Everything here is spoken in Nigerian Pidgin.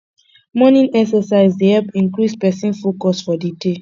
morning exercise dey help increase person focus for di day